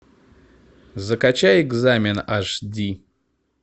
закачай экзамен аш ди